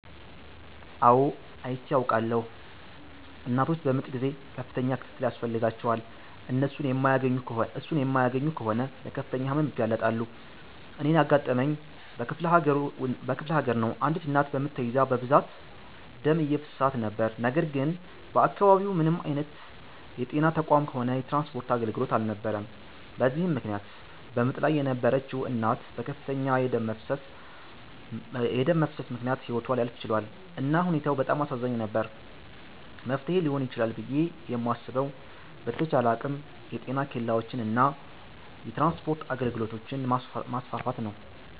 አው አይቼ አዉቃለሁ። እናቶች በምጥ ጊዜ ከፍተኛ ክትትል ያስፈልጋቸዋል። እሱን የማያገኙ ከሆነ ለከፍተኛ ህመም ይጋለጣሉ። እኔን ያጋጠመኝ በክፍለሀገር ነው አንዲት እናት በምጥ ተይዛ በብዛት ደም እየፈሰሳት ነበር ነገር ግን በአከባቢው ምንም አይነት የጤና ተቋምም ሆነ የትራንስፖርት አገልግሎት አልነበረም በዚህም ምክነያት በምጥ ላይ የነበረችዉ እናት በከፍተኛ የደም መፍሰስ ምክነያት ህይወቷ ሊያልፍ ችሏል። እና ሁኔታው በጣም አሳዛኝ ነበር። መፍትሔ ሊሆን ይችላል ብየ የማስበዉ በተቻለ አቅም የጤና ኬላወችን እና የትራንስፖርት አገልግሎቶችን ማስፋፋት ነዉ።